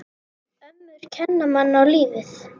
Ömmur kenna manni á lífið.